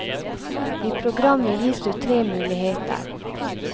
I programmet gis du tre muligheter.